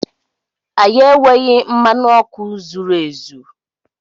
Anyị enweghị mmanụ ọkụ zuru ezu.